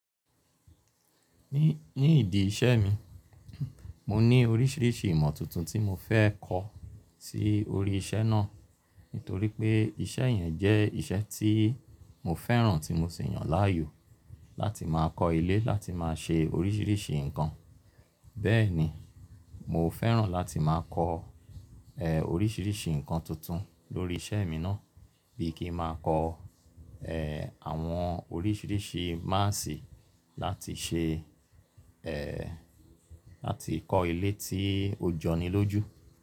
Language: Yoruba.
Ní, ní ìdí iṣẹ́ mi, mo ní oríṣiríṣi ìmọ̀ tuntun tí mo fẹ́ kọ́ sí orí iṣẹ́ náà. Nítorí pé iṣẹ́ yẹn jẹ́ iṣẹ́ tí mo fẹ́ràn tí mo sì yàn láàyò láti máa kọ́ ilé, láti máa ṣe oríṣiiríṣii nǹkan. Bẹ́ẹ̀ ni, mo fẹ́ràn láti máa kọ́ oríṣiiríṣii nǹkan tuntun lórí iṣẹ́ mi náà bíi kí ń máa kọ́ àwọn oríṣiiríṣii máàsì láti ṣe láti kọ́ ilé tí ó jọni lójú.